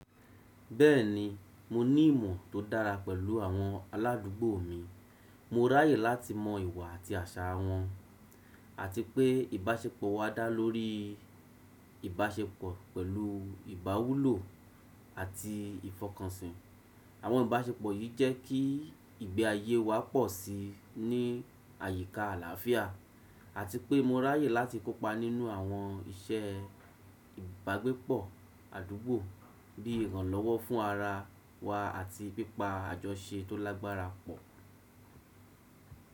Bẹ́ẹ̀ni, mo ní ìmọ̀ tó dára pẹ̀lú àwọn aládùúgbò mi. Mo ráyè láti mọ ìwà àti àṣà wọn, àti pé ìbáṣepọ̀ wa dá lórí ìbáṣepọ̀ pẹ̀lú ìbáwúlò àti ìfọkànsìn. Àwọn ìbáṣepọ̀ yìí jẹ́ kí ìgbé ayé wa pọ̀ sí i ní àyíká àlàáfíà, àti pé mo ráyè láti kópa nínú àwọn iṣẹ́ ìgbàgbépọ̀ àdúgbò bí i ìrànlọ́wọ́ fún ara wa àti pípa àjọṣe tó lágbára pọ̀.